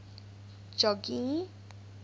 jogee